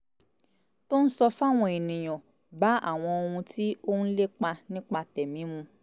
tó ń sọ fáwọn ènìyàn bá àwọn ohun tí òun ń lépa nípa tẹ̀mí mu